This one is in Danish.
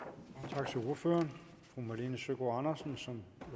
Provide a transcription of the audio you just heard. tak til ordføreren fru malene søgaard andersen som